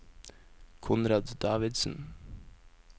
Konrad Davidsen